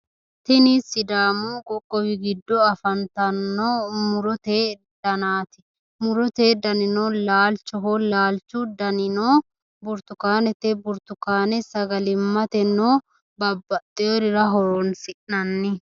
tini sidaamu qoqowi giddo afantanno murote danaati murote danino laalchoho laalchu danino burtukanete burtukane sagali'matenna babbaxeworira horonsinanni.